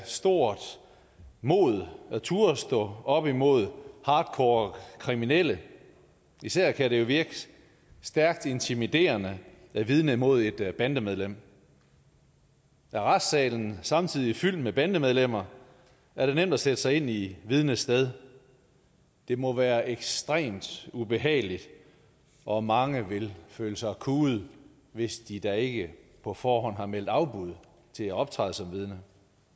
stort mod at turde stå op imod hardcore kriminelle især kan det virke stærkt intimiderende at vidne mod et bandemedlem er retssalen samtidig fyldt med bandemedlemmer er det nemt at sætte sig i vidnets sted det må være ekstremt ubehageligt og mange vil føle sig kuet hvis de da ikke på forhånd har meldt afbud til at optræde som vidne